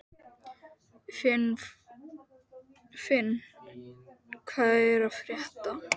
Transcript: Finn, hvað er að frétta?